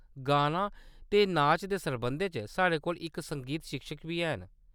गाना ते नाच दे सरबंधै च साढ़े कोल इक संगीत शिक्षक बी हैन।